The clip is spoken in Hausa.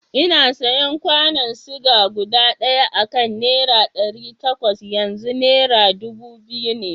Ina sayan kwanon ciga guda ɗaya akan nera ɗari takwas, yanzu nera dubu biyu ne.